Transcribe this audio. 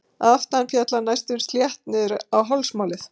Að aftan féll það næstum slétt niður á hálsmálið.